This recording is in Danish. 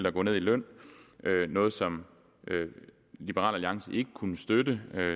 at gå ned i løn noget som liberal alliance ikke kunne støtte